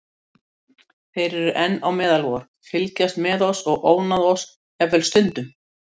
Þeir eru enn á meðal vor, fylgjast með oss og ónáða oss jafnvel stundum.